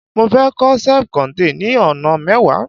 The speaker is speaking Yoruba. mo fe ko self contain ni ona mewa